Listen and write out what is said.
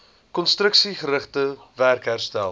konstruksiegerigte werk herstel